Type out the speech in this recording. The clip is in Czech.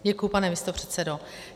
Děkuji, pane místopředsedo.